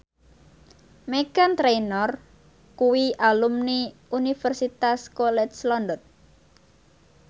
Meghan Trainor kuwi alumni Universitas College London